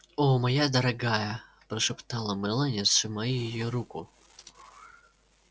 о моя дорогая прошептала мелани сжимая её руку